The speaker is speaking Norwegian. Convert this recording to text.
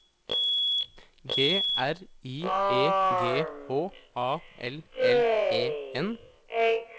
G R I E G H A L L E N